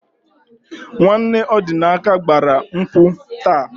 Nwanne Ọdịnaka gbara nkwụ taa.